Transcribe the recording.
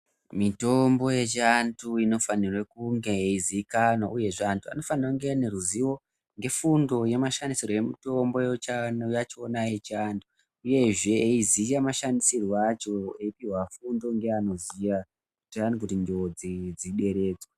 Mitombo yechi antu ino fanirwe kunge yei zikanwa uyezve antu vano fanire kunge vaine ruzivo nge fundo ye mashandiiro emutombo yachona yechi antu uyezve eyi ziya mashandisirwo acho eyi pihwa fundo nge anoziya kuti njodzi dzi deredzwe.